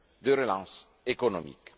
de relance économique.